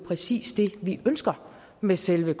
præcis det vi ønsker med selve